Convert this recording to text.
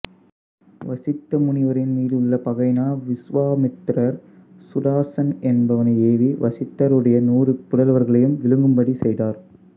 வசிட்ட முனிவரின் மீதுள்ள பகையினால் விசுவாமித்திரர் சுதாசன் என்பவனை ஏவி வசிட்டருடைய நூறு புதல்வர்களையும் விழுங்கும்படி செய்தார்